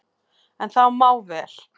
En það má vel,